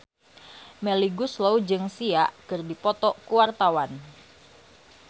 Melly Goeslaw jeung Sia keur dipoto ku wartawan